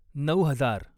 नऊ हजार